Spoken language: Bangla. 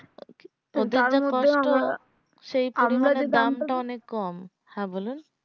কত কষ্ট সেই পরিমানে দাম টা অনেক কম হ্যাঁ বলুন